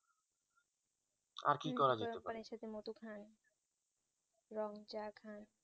এবং চা খান